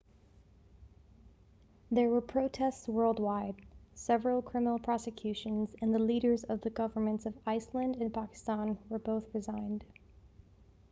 there were protests worldwide several criminal prosecutions and the leaders of the governments of iceland and pakistan both resigned